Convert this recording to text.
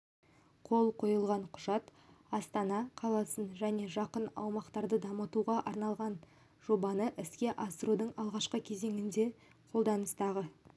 қол қойылған құжат астана қаласын және жақын аумақтарды дамытуға арналған жобаны іске асырудың алғашқы кезеңінде қолданыстағы